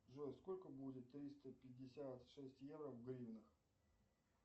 джой сколько будет триста пятьдесят шесть евро в гривнах